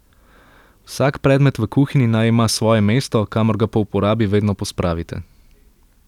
Vsak predmet v kuhinji naj ima svoje mesto, kamor ga po uporabi vedno pospravite.